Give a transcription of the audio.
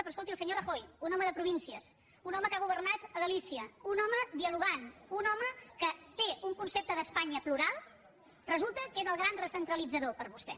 però escolti el senyor rajoy un home de províncies un home que ha governat a galícia un home dialogant un home que té un concepte d’espanya plural resulta que és el gran recentralitzador per vostè